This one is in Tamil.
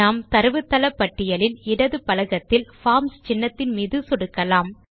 நாம் தரவுத்தள பட்டியலில் இடது பலகத்தில் பார்ம்ஸ் சின்னத்தின் மீது சொடுக்கலாம்